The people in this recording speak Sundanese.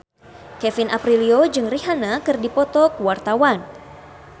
Kevin Aprilio jeung Rihanna keur dipoto ku wartawan